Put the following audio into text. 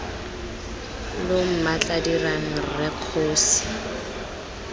lo mmatla dirang rre kgosi